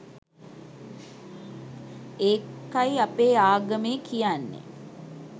ඒකයි අපේ ආගමේ කියන්නෙ